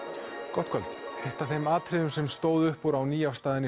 gott kvöld eitt af þeim atriðum sem stóð upp úr á nýafstaðinni